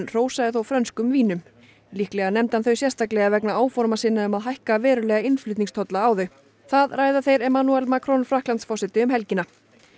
hrósaði þó frönskum vínum líklega nefndi hann þau sérstaklega vegna áforma sinna um að hækka verulega innflutningstolla á þau það ræða þeir Emmanuel Macron Frakklandsforseti um helgina